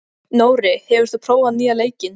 Nóri, hefur þú prófað nýja leikinn?